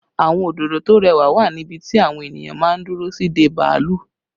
Àwọn òdòdó tó rẹwà wà ní ibi tí àwọn ènìyàn máa ń dúró sí dé bàálù